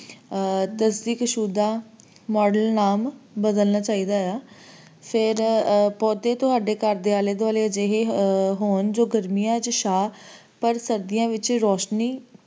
model name ਬਦਲਣਾ ਚਾਹੀਦਾ ਆ ਤੇ ਫੇਰ ਪੌਧੇ ਤੁਹਾਡੇ ਘਰ ਦੇ ਆਲੇ ਇਹੋ ਜਿਹੇ ਹੋਣ ਜੋ ਗਰਮੀਆਂ ਚ ਚਾਂ ਪਰ ਸਰਦੀਆਂ ਚ ਰੋਸ਼ਨੀ,